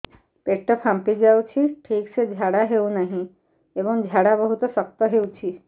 ପେଟ ଫାମ୍ପି ଯାଉଛି ଠିକ ସେ ଝାଡା ହେଉନାହିଁ ଏବଂ ଝାଡା ବହୁତ ଶକ୍ତ ହେଉଛି